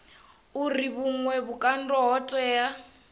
uri vhuṅwe vhukando ho tea